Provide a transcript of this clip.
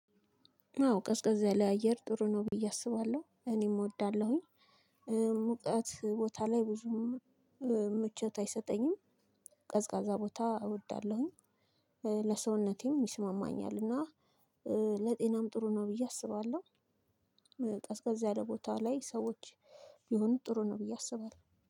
አዎ ቀዝቀዝ ያለ አየር ጥሩ ነው ብዬ አስባለሁ እኔም እወዳለሁኝ። ሙቀት ቦታ ላይ ብዙም ምቾት አይሰጠኝም። ቀዝቃዛ ቦታ እወዳለሁኝ። ለሰውነቴም ይስማማኛል እና ለጤናም ጥሩ ነው ብዬ አስባለሁ። ቀዝቀዛ ያለ ቦታ ላይ ሰዎች ቢሆኑ ጥሩ ነው ብዬ አስባለሁ